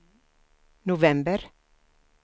november